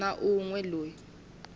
na un we loyi a